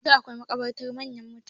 Yanzun akwai makabartan manyan mutane.